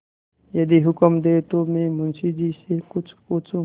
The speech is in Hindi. यदि हुक्म दें तो मैं मुंशी जी से कुछ पूछूँ